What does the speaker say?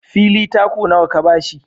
Fili taku nawa ka ba shi?